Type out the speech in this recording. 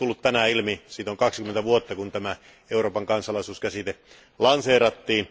Kuten on tullut tänään ilmi, siitä on 20 vuotta, kun Euroopan kansalaisuus käsite lanseerattiin.